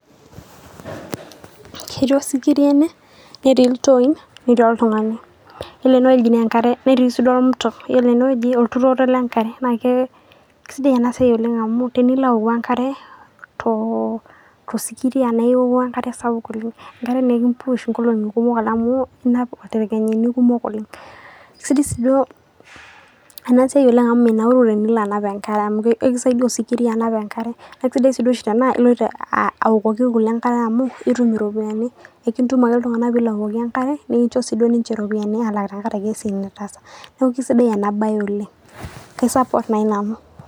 Ketii osikiria ene, netii iltooi, netii oltung'ani. Kore ene wueji naa enkare netii sii. Ore enewueji naa olturoto le nkare. Naake sidai ena siai oleng' amu teneilo aouku enkare toosikiria, naa ioku enkare sapuk oleng'. Enkare enikimpush too nkolongi kumok amu, inap intaekeni kumok oleng'. Sidai sii duo ena siai oleng' amu minauru teneilo anap enkare amu, ekisaidia osikiria anap enkare. Aisidai tanaa ilo anapa enkare amu ilo atum iropiani kumok, enkituma ake iltung'ana pee ilo aokoki enkare nikincho duo sii ninche iropiani te siai nitaasa naa aisidai ena siai sii duo oleng', naa kaisapot nanu oleng'.